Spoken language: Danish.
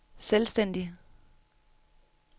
selvstændig